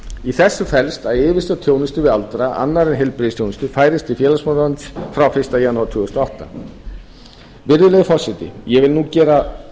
í þessu felst að yfirstjórn þjónustu við aldraða annarri en heilbrigðisþjónustu færist til félagsmálaráðuneytisins frá fyrsta janúar tvö þúsund og átta virðulegi forseti ég vil nú gera